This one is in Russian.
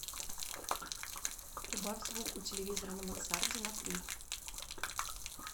убавь звук у телевизора на мансарде на три